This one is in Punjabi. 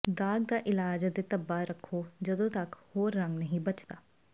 ਦਾਗ਼ ਦਾ ਇਲਾਜ ਅਤੇ ਧੱਬਾ ਰੱਖੋ ਜਦੋਂ ਤੱਕ ਹੋਰ ਰੰਗ ਨਹੀਂ ਬਚਦਾ